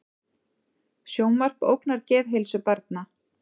Sjónvarp ógnar geðheilsu barna